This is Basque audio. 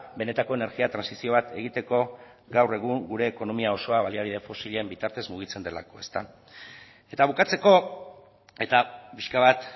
benetako energia trantsizio bat egiteko gaur egun gure ekonomia osoa baliabide fosilen bitartez mugitzen delako eta bukatzeko eta pixka bat